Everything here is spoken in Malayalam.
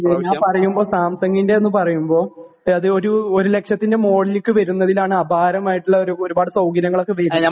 ഞാൻ പറയുമ്പോൾ സാംസങിന്റെ എന്നു പറയുമ്പോ അത് ഒരു, ഒരു ലക്ഷത്തിന് മുകളിലേക്ക് വരുന്നതിൽ ആണ് അപാരം ആയിട്ടുള്ള ഒരുപാട് സൗകര്യങ്ങൾ ഒക്കെ വരുന്നത്.